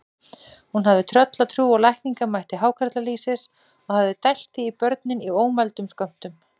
Hún hafði tröllatrú á lækningamætti hákarlalýsis og hafði dælt því í börnin í ómældum skömmtum.